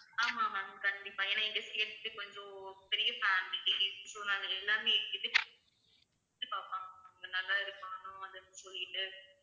ஆமாம் ma'am கண்டிப்பா ஏன்னா எங்க கொஞ்சம் பெரிய family so நாங்க எல்லாமே பார்பாங்க நல்லா இருக்கனும் சொல்லிட்டு